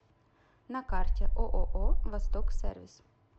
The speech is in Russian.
на карте ооо восток сервис